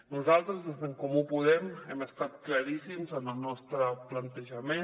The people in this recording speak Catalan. nosaltres des d’en comú podem hem estat claríssims en el nostre plantejament